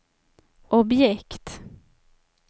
objekt